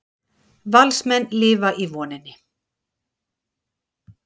Valsmenn lifa í voninni